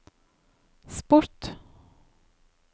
sport